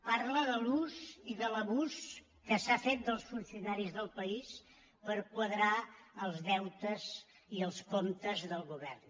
parla de l’ús i de l’abús que s’ha fet dels funcionaris del país per quadrar els deutes i els comptes del govern